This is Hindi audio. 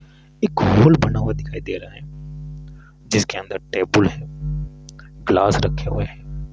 एक होल बना हुआ दिखाई दे रहा है जिसके अंदर टेबल है ग्लास रखे हुए हैं।